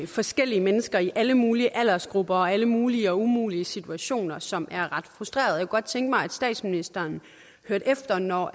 forskellige mennesker i alle mulige aldersgrupper og alle mulige og umulige situationer som er ret frustrerende og godt tænke mig at statsministeren hørte efter når